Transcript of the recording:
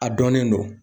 A dɔnnen don